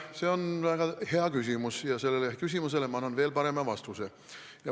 See on väga hea küsimus ja ma annan sellele küsimusele veel parema vastuse.